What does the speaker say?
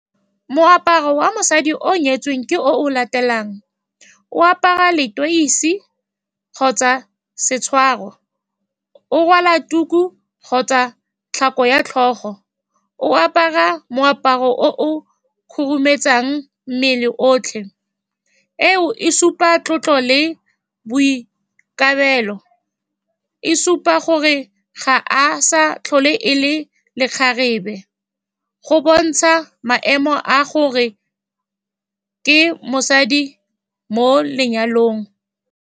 Moaparo wa mosadi o o nyetsweng ke o latelang, o apara leteisi kgotsa setshwaro, o rwala tuku kgotsa tlhako ya tlhogo, o apara moaparo o o khurumetsang mmele otlhe, e o supang tlotlo le boikarabelo. E supa gore ga a sa tlhole e le lekgarebe, go bontsha maemo a gore ke mosadi mo lenyalong.